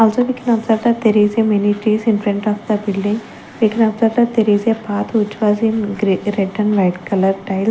also we can observe that there is a mini trees in front of the building we can observe that path which was in re red and greay colour tile.